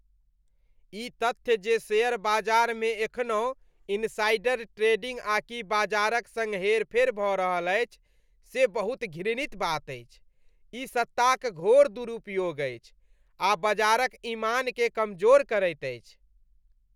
ई तथ्य जे शेयर बाजारमे एखनहुँ इनसाइडर ट्रेडिंग आ कि बाजारक सङ्ग हेरफेर भऽ रहल अछि, से बहुत घृणित बात अछि। ई सत्ताक घोर दुरुपयोग अछि आ बजारक इमानकेँ कमजोर करैत अछि।